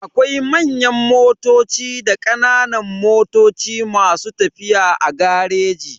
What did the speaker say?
Akwai manyan motoci da kananan motoci masu tafiya a gareji.